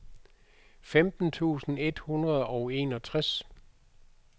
femten tusind et hundrede og enogtres